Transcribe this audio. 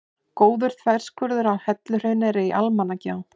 Góður þverskurður af helluhrauni er í Almannagjá.